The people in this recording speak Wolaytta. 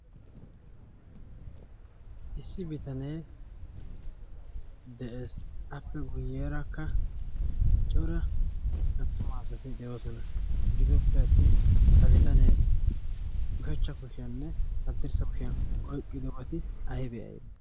issi bitanee des appe guyyeeraakka cora attuma asati de7oosona gidooppe attin ha bitanee ushachcha kushiyaanne addirssa kushiyan oiqqido woti ahi be7ai